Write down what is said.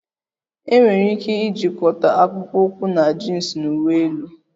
Enwere ike ijikọta akpụkpọ ụkwụ na jins na uwe elu